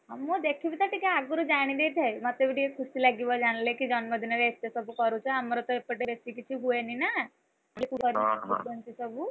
ହଁ ମୁ ଦେଖିବିତ ଟିକେ ଆଗରୁ ଜାଣି ଦେଇଥାଏ, ମତେ ବି ଟିକେ ଖୁସି ଲାଗିବ ଜାଣିଲେ, କି ଜନ୍ମ ଦିନରେ ଏତେ ସବୁ କରୁଛ ଆମର ତ ଏପଟେ ବେଶୀ କିଛି ହୁଏନି ନାଁ!